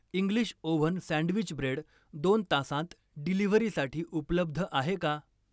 English oven sandwich bread दोन तासांत डिलिव्हरीसाठी उपलब्ध आहे का?